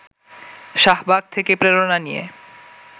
শাহবাগ থেকে প্রেরণা নিয়ে